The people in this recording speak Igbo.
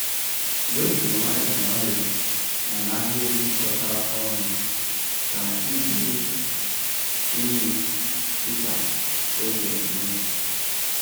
Wepu nwayọọ nwayọọ na n'ahịrị jikọtara ọnụ ka iburu unyi dị ka o kwere mee.